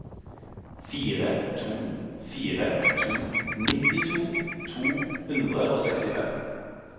fem to fire to nittito to hundre og sekstifem